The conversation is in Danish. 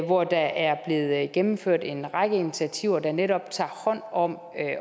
hvor der er blevet gennemført en række initiativer der netop tager hånd om